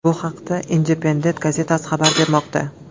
Bu haqda Independent gazetasi xabar bermoqda.